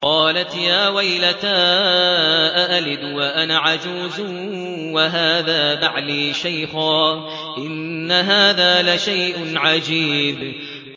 قَالَتْ يَا وَيْلَتَىٰ أَأَلِدُ وَأَنَا عَجُوزٌ وَهَٰذَا بَعْلِي شَيْخًا ۖ إِنَّ هَٰذَا لَشَيْءٌ عَجِيبٌ